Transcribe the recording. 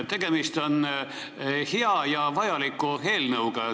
Tegemist on hea ja vajaliku eelnõuga.